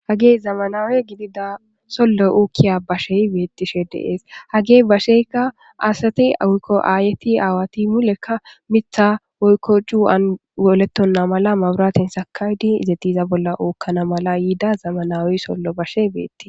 hagey zamanawe gidida sollo ookkiya bashey beettishe deees hagey basheyka asati awuikko aayeti aawati mulekka mitha woykkoju7anolettonna mala mawuraten sakawdi izetiza bolla ookkana mala yiida zamanawey sollo bashe beettii